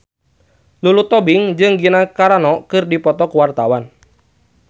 Lulu Tobing jeung Gina Carano keur dipoto ku wartawan